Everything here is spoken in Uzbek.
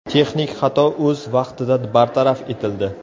Texnik xato o‘z vaqtida bartaraf etildi.